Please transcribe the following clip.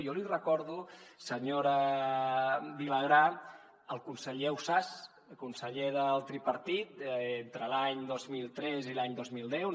jo li recordo senyora vilagrà el conseller ausàs conseller del tripartit entre l’any dos mil tres i l’any dos mil deu